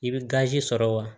I bɛ gazi sɔrɔ wa